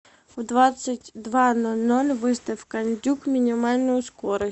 в двадцать два ноль ноль выставь кондюк минимальную скорость